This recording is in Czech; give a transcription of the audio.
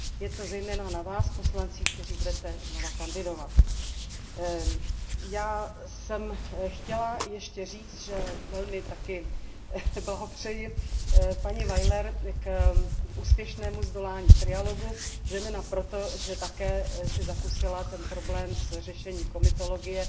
Je to zejména na vás poslancích, kteří budete znovu kandidovat. Já jsem chtěla ještě říct, že také velmi blahopřeji paní Weilerové k úspěšnému zdolání trialogu, zejména proto, že si také zakusila ten problém s řešením komitologie,